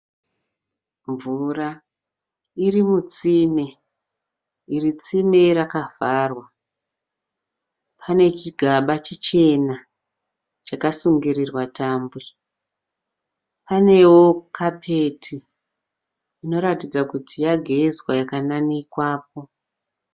Mvura iri mutsime. Iri tsime rakavharwa, pane chigaba chichena chakasungirirwa tambo. Panewo kapeti inoratidza kuti yagezwa ikananikwapo.